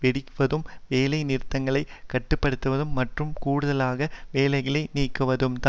வெட்டுவதும் வேலை நிலைகளை கட்டுப்படுத்துவதும் மற்றும் கூடுதலாக வேலைகளை நீக்குவதும்தான்